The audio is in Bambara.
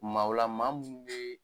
Maaw ua maa mun bɛ